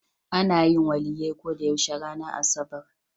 Ana yin Waliyyai ko da yaushe ranar asabar.